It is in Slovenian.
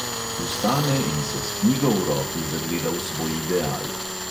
Vstane in se s knjigo v roki zagleda v svoj ideal ...